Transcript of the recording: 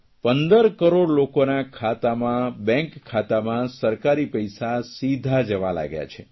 14 કરોડ લોકોના ખાતામાં બેંક ખાતામાં સરકારી પૈસા સીધા જવા લાગ્યા છે